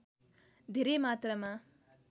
धेरै मात्रामा